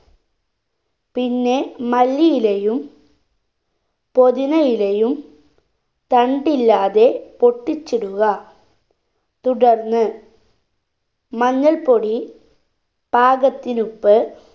പിന്നെ മല്ലിയിലയും പൊതിനയിലയും തണ്ടില്ലാതെ പൊട്ടിച്ചിടുക തുടർന്ന് മഞ്ഞൾ പൊടി പാകത്തിനുപ്പ്